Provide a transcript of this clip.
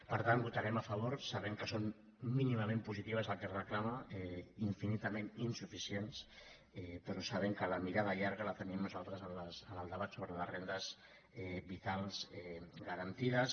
per tant hi votarem a favor sabent que són mínimament positives les que es reclamen i infinitament insuficients però sabent que la mirada llarga la tenim nosaltres en el debat sobre les rendes vitals garantides